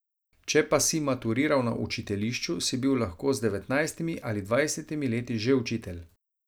Če pa si maturiral na učiteljišču, si bil lahko z devetnajstimi ali dvajsetimi leti že učitelj.